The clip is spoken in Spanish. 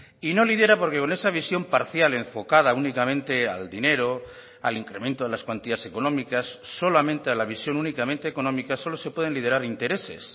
y no lidera porque con esa visión parcial enfocada únicamente al dinero al incremento de las cuantías económicas solamente a la visión únicamente económica solo se pueden liderar intereses